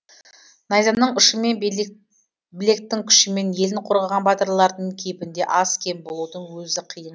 найзаның ұшымен білектің күшімен елін қорғаған батырлардың кейпінде аз кем болудың өзі қиын